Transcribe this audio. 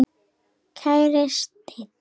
Kæri Steini.